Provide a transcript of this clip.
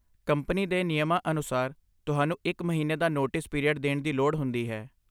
Company ਦੇ ਨਿਯਮਾਂ ਅਨੁਸਾਰ, ਤੁਹਾਨੂੰ ਇੱਕ ਮਹੀਨੇ ਦਾ ਨੋਟਿਸ ਪੀਰੀਅਡ ਦੇਣ ਦੀ ਲੋੜ ਹੁੰਦੀ ਹੈ।